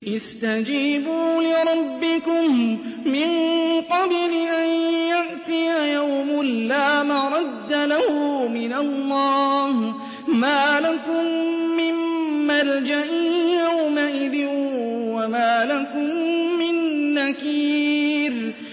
اسْتَجِيبُوا لِرَبِّكُم مِّن قَبْلِ أَن يَأْتِيَ يَوْمٌ لَّا مَرَدَّ لَهُ مِنَ اللَّهِ ۚ مَا لَكُم مِّن مَّلْجَإٍ يَوْمَئِذٍ وَمَا لَكُم مِّن نَّكِيرٍ